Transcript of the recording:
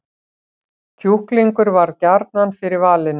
Kjúklingur varð gjarnan fyrir valinu